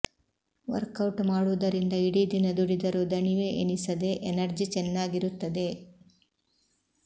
workout ಮಾಡುವುದರಿಂದ ಇಡೀ ದಿನ ದುಡಿದರೂ ದಣಿವೆ ಎನಿಸದೆ ಎನರ್ಜಿ ಚೆನ್ನಾಗಿರುತ್ತದೆ